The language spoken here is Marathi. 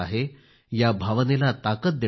या भावनेला ताकद देणारे आहे